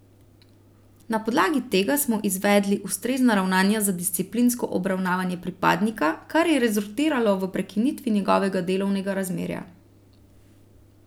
Na podlagi tega smo izvedli ustrezna ravnanja za disciplinsko obravnavanje pripadnika, kar je rezultiralo v prekinitvi njegovega delovnega razmerja.